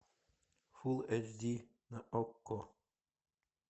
фулл эйч ди на окко